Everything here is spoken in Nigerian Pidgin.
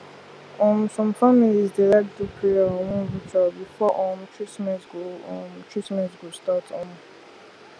um some families dey like do prayer or one ritual before um treatment go um treatment go start um